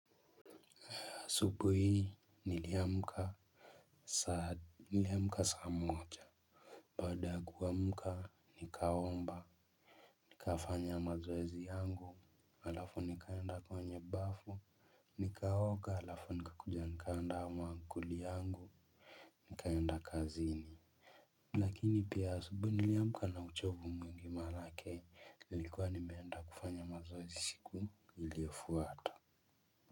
Asubuhi hii niliamka saa moja. Baada ya kuamka nikaomba nikafanya mazoezi yangu alafu nikaenda kwenye bafu nikaoga alafu nika kuja nikaanda maankuli yangu nikaenda kazini. Lakini pia asubuhi niliamka na uchovu mwingi maanake nilikuwa nimeenda kufanya mazoezi siku iliyofuata.